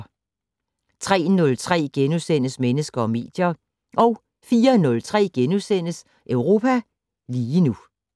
03:03: Mennesker og medier * 04:03: Europa lige nu *